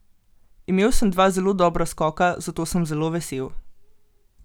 Imel sem dva zelo dobra skoka, zato sem zelo vesel.